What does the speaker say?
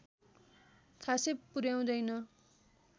खासै पुर्‍याउँदैन